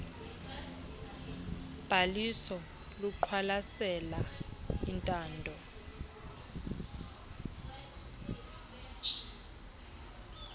bhaliso luqwalasela intando